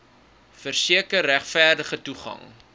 verseker regverdige toegang